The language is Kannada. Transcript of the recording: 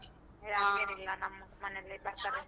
ಏ ಹಂಗೇನಿಲ್ಲ ನಮ್ಮ್ ಮನೇಲಿ ಬರ್ತಾರೆ.